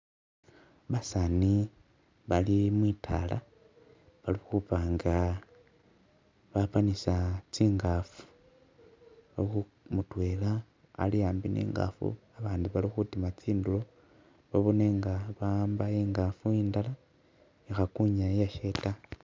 Basaani bali mwitala balikhubanga bapanisa tsingafu mutwela ali ambi ni'tsingafu abandi bali khutima tsindulo babone nga baamba ingafu indala ikhakunya iyashe taa